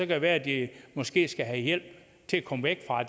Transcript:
det være at de måske skal have hjælp til at komme væk fra